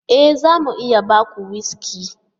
E! za mu iya ba ku wuski.